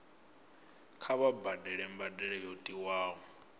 kha vha badele mbadelo yo tiwaho